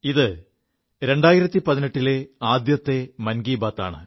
ഇത് 2018 ലെ ആദ്യത്തെ മൻ കീ ബാത് ആണ്